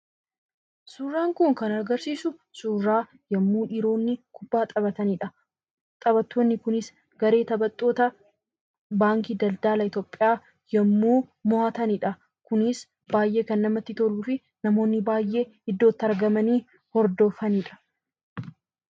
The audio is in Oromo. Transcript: Suuraan kun kan agarsiisu suuraa yommuu dhiironni kubbaa taphatanidha. Taphattoonni kunis garee taphattoota baankii daldala Itoophiyaa yommuu moo'atanidha. Kunis baay'ee kan namatti toluu fi namoonni baay'ee iddootti argamanii hordofanidha.